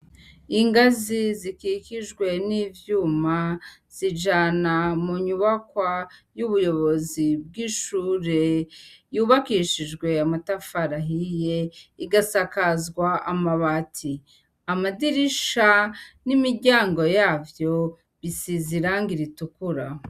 Ingazi zikikijwe n'ivyuma zijana mu nyubakwa z'ubuyobozi bw'ishure yubakishijwe amatafari ahiye, igasakazwa amabati. Amadirisha n'imiryango yavyo, bisize irangi ritukura.